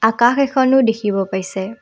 আকাশ এখনো দেখিব পাইছে।